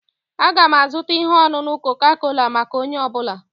Aga m azụta ihe ọṅụṅụ koka-kola maka onye ọ bụla